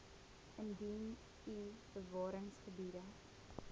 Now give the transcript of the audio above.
indien u bewaringsgebiede